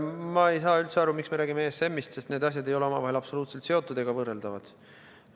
Ma ei saa üldse aru, miks me räägime ESM-ist, sest need asjad ei ole absoluutselt seotud ega võrreldavad.